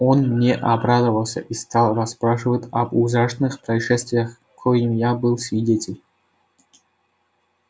он мне обрадовался и стал расспрашивать об ужасных происшествиях коим я был свидетель